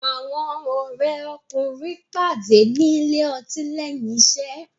Àwọn òré kùnrin pàdé ní Ilé-ọtí léyìn iṣé.